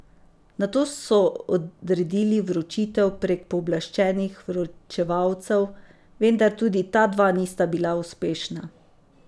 Nato so odredili vročitev prek pooblaščenih vročevalcev, vendar tudi ta dva nista bila uspešna.